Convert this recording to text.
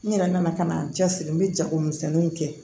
N yɛrɛ nana ka na n cɛ siri n bɛ jagomisɛnniw kɛ